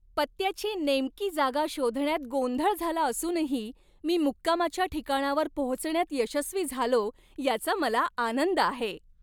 पत्त्याची नेमकी जागा शोधण्यात गोंधळ झाला असूनही, मी मुक्कामाच्या ठिकाणावर पोहोचण्यात यशस्वी झालो याचा मला आनंद आहे.